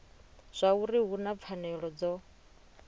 zwauri hu na pfanelo dzo